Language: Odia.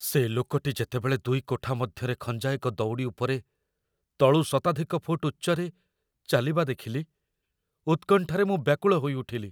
ସେ ଲୋକଟି ଯେତେବେଳେ ଦୁଇ କୋଠା ମଧ୍ୟରେ ଖଞ୍ଜା ଏକ ଦଉଡ଼ି ଉପରେ, ତଳୁ ଶତାଧିକ ଫୁଟ ଉଚ୍ଚରେ, ଚାଲିବା ଦେଖିଲି, ଉତ୍କଣ୍ଠାରେ ମୁଁ ବ୍ୟାକୁଳ ହୋଇଉଠିଲି।